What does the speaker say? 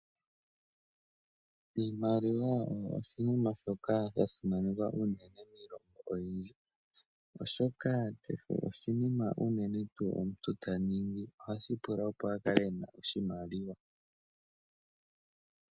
Iimaliwa osho oshinima shoka sha simanekwa miilongo oyindji , oshoka kehe oshinima shoka unene omuntu taningi ohashi pula opo akale ena oshimaliwa.